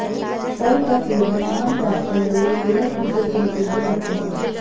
फल का सेवन आमतौर पर लोग सेहत ठीक रखने के लिए करते हैं